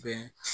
Bɛn